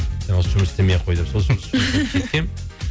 жұмыс істемей ақ қой деп